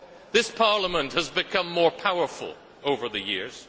This Parliament has become more powerful over the years.